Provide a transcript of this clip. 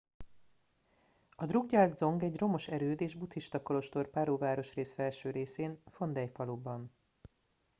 a drukgyal dzong egy romos erőd és buddhista kolostor paro városrész felső részén phondey faluban